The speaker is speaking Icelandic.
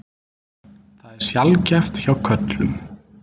Það er sjaldgæft hjá körlum.